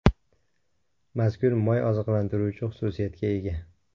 Mazkur moy oziqlantiruvchi xususiyatga ega.